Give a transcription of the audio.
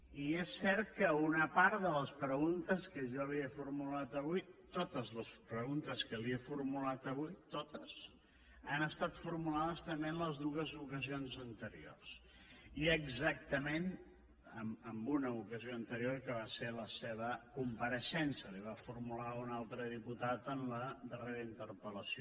i és cert que una part de les preguntes que jo li he formulat avui totes les preguntes que li he formulat avui totes han estat formulades també en les dues ocasions anteriors i exactament en una ocasió anterior que va ser la seva compareixença la hi va formular un altre diputat en la darrera interpellació